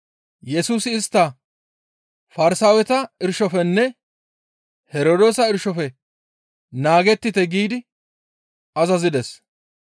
Yesusi istta, «Farsaaweta irshofenne Herdoosa irshofe naagettite» giidi azazides.